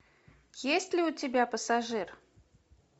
есть ли у тебя пассажир